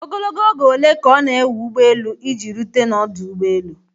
Ogologo oge ole ka ọ na-ewe ụgbọ elu iji rute n'ọdụ ụgbọ elu?